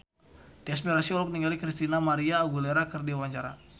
Tyas Mirasih olohok ningali Christina María Aguilera keur diwawancara